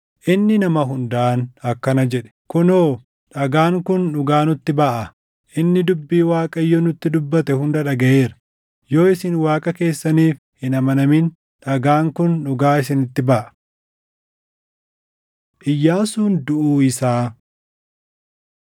Inni nama hundaan akkana jedhe; “Kunoo! Dhagaan kun dhugaa nutti baʼaa. Inni dubbii Waaqayyo nutti dubbate hunda dhagaʼeera. Yoo isin Waaqa keessaniif hin amanamin dhagaan kun dhugaa isinitti baʼa.” Iyyaasuun Duʼuu Isaa 24:29‑31 kwf – AbM 2:6‑9